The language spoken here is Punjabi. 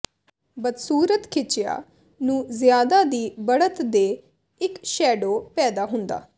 ਬਦਸੂਰਤ ਖਿੱਚਿਆ ਨੂੰ ਜ਼ਿਆਦਾ ਦੀ ਬੜ੍ਹਤ ਦੇ ਇੱਕ ਸ਼ੈਡੋ ਪੈਦਾ ਹੁੰਦਾ